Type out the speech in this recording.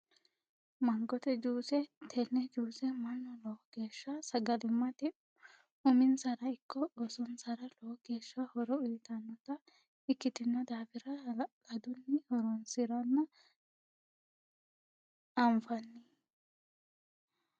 Mangotte juuse, te'ne juuse manu lowo geesha sagalimate umin'sara ikko ooso'nsara lowo geesha horo uuyitanota ikkitino daafira halaladuni horonsiranna anfanni